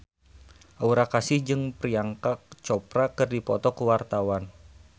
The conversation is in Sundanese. Aura Kasih jeung Priyanka Chopra keur dipoto ku wartawan